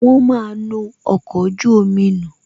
Wọn máa nu ọkọ̀ ojú omi nù